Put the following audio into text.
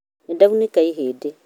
Nindaunĩka ihĩndĩ